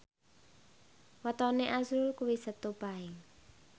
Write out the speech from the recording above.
wetone azrul kuwi Setu Paing